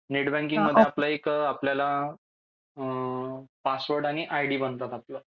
Net banking मध्ये आपलं एक आपल्याला पासवर्ड आयडी बनतो आपलं.